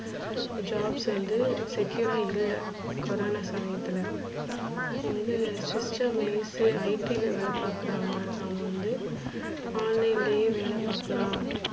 jobs வந்து secure ரா இல்ல கொரானா சமயத்துல வந்து system ஸ் IT ல வேல பாக்குறவுங்க அவங்க வந்து, online யே வேல பாக்கலாம்.